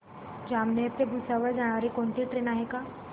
जामनेर ते भुसावळ जाणारी कोणती ट्रेन आहे का